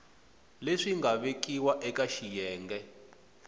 leswi nga vekiwa eka xiyenge